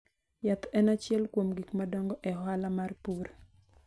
Yath en achiel kuom gik madongo e ohala mar pur.